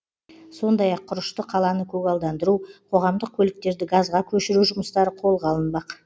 сондай ақ құрышты қаланы көгалдандыру қоғамдық көліктерді газға көшіру жұмыстары қолға алынбақ